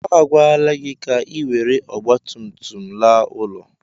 A gwala gị ka ị were ọgbatumtum laa ụlọ.